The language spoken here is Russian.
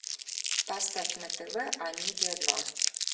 поставь на тв амедиа два